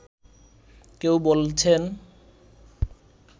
কেউ বলছেন